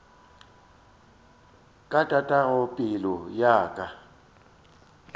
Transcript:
ka tatago pelo ya ka